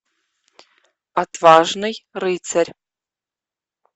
отважный рыцарь